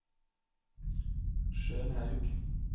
Skjønhaug